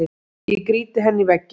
Ég grýti henni í vegginn.